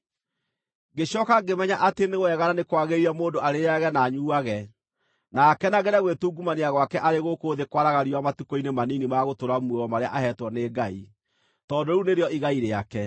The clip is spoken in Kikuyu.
Ngĩcooka ngĩmenya atĩ nĩ wega na nĩ kwagĩrĩire mũndũ arĩĩage na anyuuage, na akenagĩre gwĩtungumania gwake arĩ gũkũ thĩ kwaraga riũa matukũ-inĩ manini ma gũtũũra muoyo marĩa aheetwo nĩ Ngai, tondũ rĩu nĩrĩo igai rĩake.